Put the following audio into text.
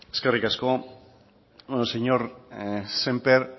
eskerrik asko señor sémper